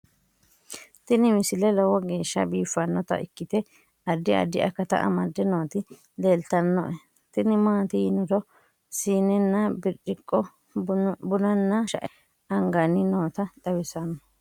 tini misile lowo geeshsha biiffannota ikkite addi addi akata amadde nooti leeltannoe tini maati yiniro siinenna birciqqo bunanna shae anganniti noota xawissanno